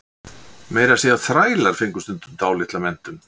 Meira að segja þrælar fengu stundum dálitla menntun.